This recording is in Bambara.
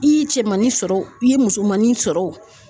I ye cɛmannin sɔrɔ o i ye musomannin sɔrɔ o